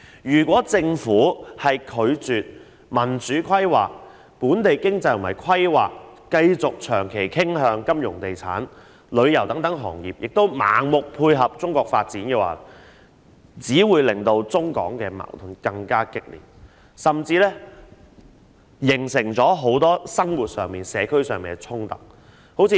如果政府拒絕民主規劃，本地經濟和規劃繼續長期傾向金融、地產、旅遊等行業，並盲目配合中國的發展，只會令中港矛盾更加激烈，甚至形成很多生活和社區上的衝突。